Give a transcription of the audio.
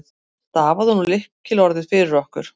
Stafaðu nú lykilorðið fyrir okkur.